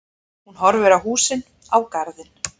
Horfir á húsið, á garðinn.